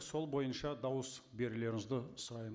сол бойынша дауыс берулеріңізді сұраймын